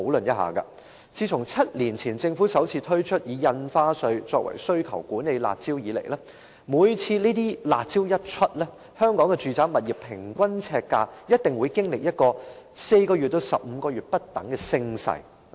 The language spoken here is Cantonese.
自從政府7年前首次推出以印花稅作為需求管理的"辣招"以來，每次推出"辣招"，香港住宅物業的平均呎價一定會經歷4個月至15個月不等的升勢。